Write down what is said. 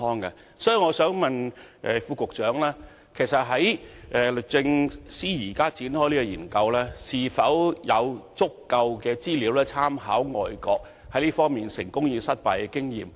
因此，我想問局長，律政司對於現正展開的這項研究，是否掌握足夠資料及曾經參考外國在這方面的成功及失敗經驗？